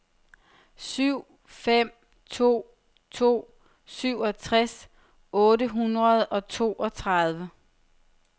syv fem to to syvogtres otte hundrede og toogtredive